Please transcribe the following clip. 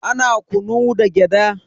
Ana kunu da gyada.